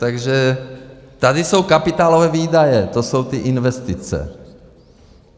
Takže tady jsou kapitálové výdaje, to jsou ty investice .